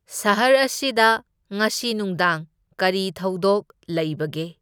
ꯁꯍꯔ ꯑꯁꯤꯗ ꯉꯁꯤ ꯅꯨꯡꯗꯥꯡ ꯀꯔꯤ ꯊꯧꯗꯣꯛ ꯂꯩꯕꯒꯦ?